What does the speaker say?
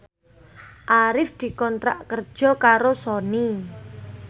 Arif dikontrak kerja karo Sony